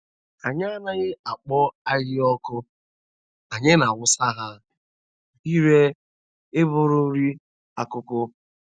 Anyị anaghị akpọ ahịhịa ọkụ anyị na-awụsa ha ire ịbụrụ nri akụkụ.